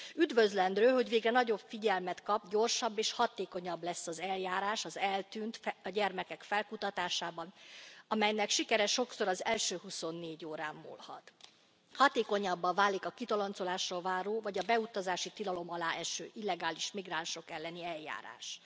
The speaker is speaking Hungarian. Üdvözlendő, hogy végre nagyobb figyelmet kap, gyorsabb és hatékonyabb lesz az eljárás az eltűnt gyermekek felkutatásában, amelynek sikere sokszor az első huszonnégy órán múlhat. Hatékonyabbá válik a kitoloncolásra váró vagy a beutazási tilalom alá eső illegális migránsok elleni eljárás.